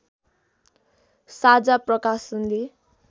साझा प्रकाशनले